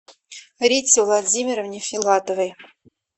рите владимировне филатовой